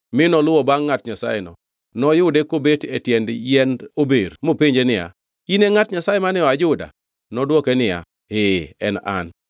mi noluwo bangʼ ngʼat Nyasayeno. Noyude kobet e tiend yiend ober mopenje niya, “In e ngʼat Nyasaye mane oa Juda?” Nodwoke niya, “Ee en an.”